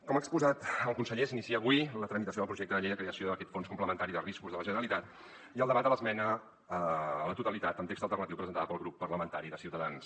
com ha exposat el conseller s’inicia avui la tramitació del projecte de llei de creació d’aquest fons complementari de riscos de la generalitat i el debat de l’esmena a la totalitat amb text alternatiu presentada pel grup parlamentari de ciutadans